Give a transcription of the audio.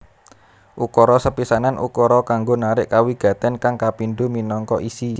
Ukara sepisanan ukara kanggo narik kawigatèn kang kapindho minangka isi